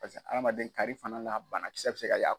Paseke adamaden kari fana banakisɛ bɛ se ka